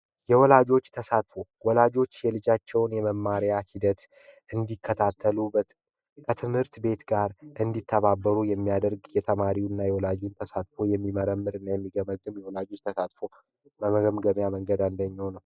ወላጆች የልጃቸውን የመማሪያ ሂደት እንዲከታተሉ ት ትምህርት ቤት ጋር እንዲተባበሩ የሚያደርግ የተማሪውና የወላጆች በሳትፎ የሚመረምር የሚገባ በመገበያ መንገድ አንደኛው ነው